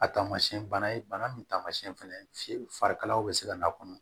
A tamasiɛn bana ye bana min taamasiyɛn fɛnɛ ye farikalayaw bɛ se ka n'a kɔnɔ